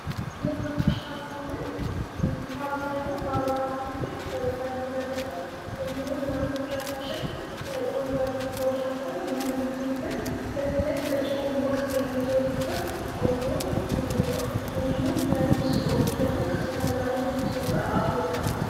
የሀበሻ ክልል በአብዛኛው በአማራ ክልል ብዛት ይመረጣል ይመረታል እንዲሁም እናቶቻችን ቆንጆ አድርገው ሰርተው ለምግብነት በተለይ በፆም ወቅት የሚዘወትርቆንጆ ምግብ ነው እንዲሁ በፍስክ ወቅት ደግሞ ከሥጋ ጋራ እና ከክትፎ ጋር አብሮ ይቀርባል ::